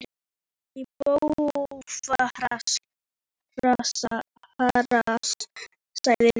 Ég er að fara í bófahasar sagði Lilla.